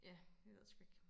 Ja jeg ved det sgu ikke